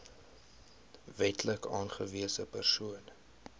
wetlik aangewese persoon